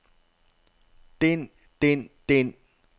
den den den